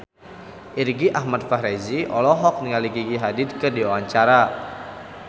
Irgi Ahmad Fahrezi olohok ningali Gigi Hadid keur diwawancara